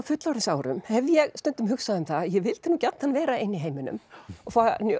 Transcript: fullorðinsárum hef ég stundum hugsað um að ég vildi gjarnan vera ein í heiminum og